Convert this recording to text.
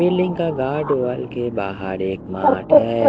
Building का घाट wall के बाहर एक मार्ट है।